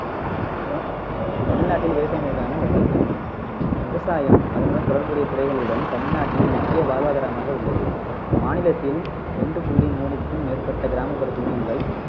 அப்பறம் தமிழ்நாட்டில் விவசாயம் வழிகாட்டி விவசாயம் அதனுடன் தொடர்புடைய துறைகளுடன் தமிழ்நாட்டின் முக்கிய வாழ்வாதாரமாக உள்ளது மாநிலத்தில் ரெண்டு புள்ளி மூனுக்கும் மேற்பட்ட கிராமப்புற குடும்பங்கள்